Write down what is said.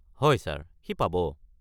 হয় ছাৰ, সি পাব।